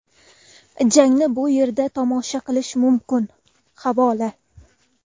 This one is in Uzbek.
Jangni bu yerda tomosha qilish mumkin havola .